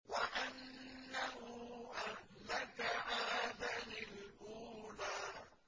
وَأَنَّهُ أَهْلَكَ عَادًا الْأُولَىٰ